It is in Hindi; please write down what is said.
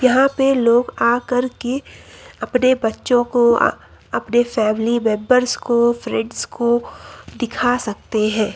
यहां पे लोग आकर के अपने बच्चों को अपने फैमिली मेंबर्स को फ्रेंड्स को दिखा सकते हैं।